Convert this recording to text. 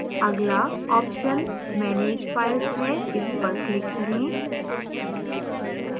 अगला option manage files है इस पर click करें